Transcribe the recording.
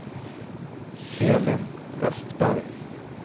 Elin Westberg